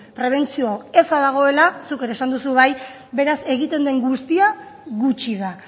prebentzio eza dagoela zuk ere esan duzu bai beraz egiten den guztia gutxi da